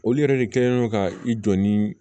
Olu yɛrɛ de kɛlen don ka i jɔ ni